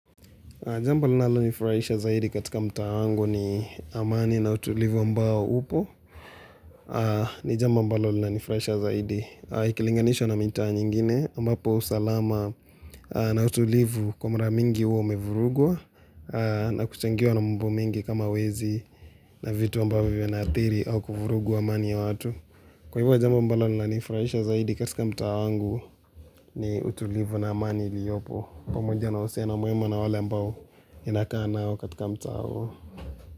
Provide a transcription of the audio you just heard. Jamba linalonifurahisha zaidi katika mtaa wangu ni amani na utulivu ambao upo. Ni jambo ambalo linaniifurahisha zaidi. Ikilinganishwa na mitaa nyingine ambapo usalama na utulivu kwa mara mingi hua umevurugwa. Na kuchangiwa na mambo mingi kama wezi na vitu ambavyo vinaathiri au kuvurugu amani ya watu. Kwa hivyo jamba ambalo linanifurahisha zaidi katika mtaa wangu ni utulivu na amani iliyopo. Pamoja na uhusiano mwema na wale ambao ninakaa nao katika mtaa huo.